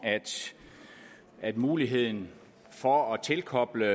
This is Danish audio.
at muligheden for at tilkoble